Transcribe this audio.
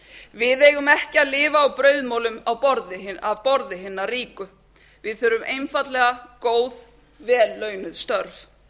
við eigum ekki að lifa á brauðmolum af borði hinna ríku við þurfum einfaldlega góð vel launuð störf